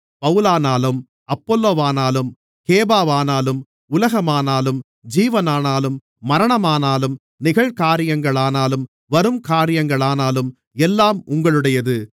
பவுலானாலும் அப்பொல்லோவானாலும் கேபாவானாலும் உலகமானாலும் ஜீவனானாலும் மரணமானாலும் நிகழ்காரியங்களானாலும் வரும்காரியங்களானாலும் எல்லாம் உங்களுடையது